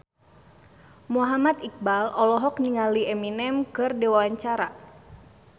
Muhammad Iqbal olohok ningali Eminem keur diwawancara